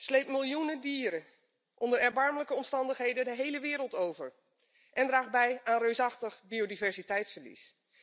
sleept miljoenen dieren onder erbarmelijke omstandigheden de hele wereld over en draagt bij aan een reusachtig biodiversiteitsverlies.